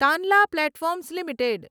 Tanla platforms limited